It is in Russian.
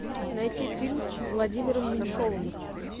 найти фильм с владимиром меньшовым